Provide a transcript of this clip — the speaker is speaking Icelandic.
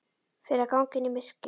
Fyrir að ganga inn í myrkrið.